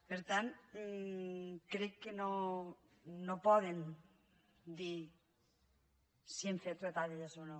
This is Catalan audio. per tant crec que no poden dir si hem fet retallades o no